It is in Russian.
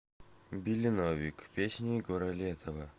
билли новик песни егора летова